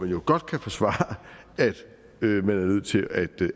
jo godt kan forsvares at man er nødt til